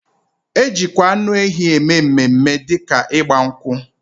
Ejikwa anu ehi eme mme mme di ka igba nkwu